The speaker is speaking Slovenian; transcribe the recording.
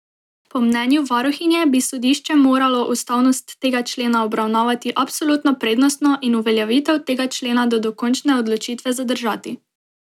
Po mnenju varuhinje bi sodišče moralo ustavnost tega člena obravnavati absolutno prednostno in uveljavitev tega člena do dokončne odločitve zadržati.